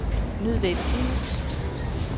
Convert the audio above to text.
nødvendige